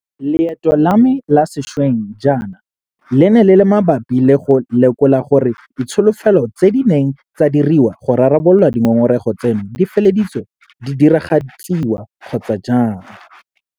Leeto la me la sešweng jaana le ne le le mabapi le go lekola gore ditsholofetso tse di neng tsa diriwa go rarabolola dingongorego tseno di feleditse di diragaditswe kgotsa jang.